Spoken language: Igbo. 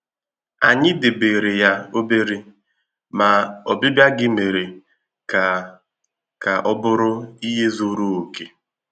Ànyị debèrè ya òbèrè, ma obibia gị mere ka ka ọ bụrụ ihe zuru okè.